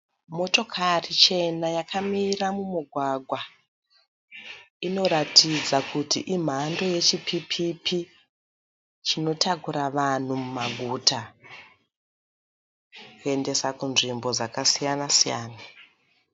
Motokari chena yakamira mumugwagwa. Inoratidza kuti imhando yechipipi chinotakura vanhu mumaguta kuendesa kunzvimbo dzakasiyana-siyana.